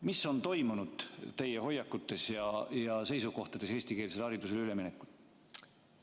Mis on toimunud teie hoiakutes ja seisukohtades eestikeelsele haridusele üleminekul?